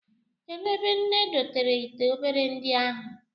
Kedụ ebe nne dotere ite obere ndị ahụ?